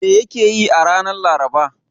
Me yake yi a ranar Laraba?